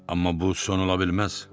Amma bu son ola bilməz.